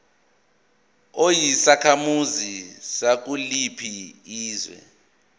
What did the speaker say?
uyisakhamuzi sakuliphi izwe